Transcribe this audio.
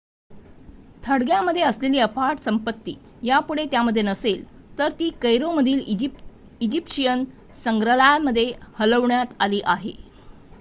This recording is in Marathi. थडग्यांमध्ये असलेली अफाट संपत्ती यापुढे त्यामध्ये नसेल तर ती कैरोमधील इजिप्शियन संग्रहालयामध्ये हलवण्यात आली आहे